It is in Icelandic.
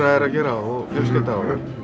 er að gera og fjölskylda að